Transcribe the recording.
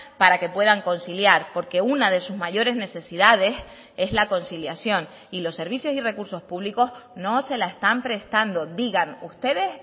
para que puedan conciliar porque una de sus mayores necesidades es la conciliación y los servicios y recursos públicos no se la están prestando digan ustedes